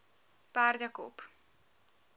perdekop